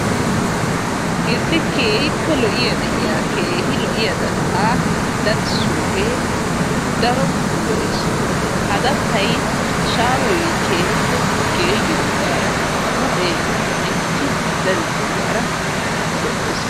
Issi. keehippe lo7iya keehi lo7iya dattaa dadissoogee daro lo7es ha dattayi shaahoyi keehippe geeyyidoogaara huuphee mintti dadettoogaara lo7es.